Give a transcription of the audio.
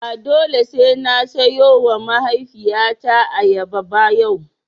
Ba dole sai na siyowa mahaifiyata ayyaba ba yau.